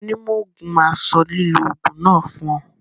Onímọ̀ òògùn máa sọ lílò òògùn náà fún ọ.